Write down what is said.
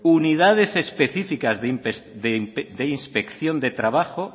unidades específicas de inspección de trabajo